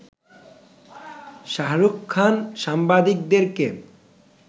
শাহরুখ খান সাংবাদিকদেরকে